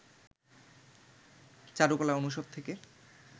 চারুকলা অনুষদ থেকে